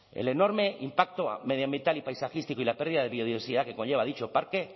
el enorme impacto medioambiental y paisajístico y la pérdida de biodiversidad que conlleva dicho parque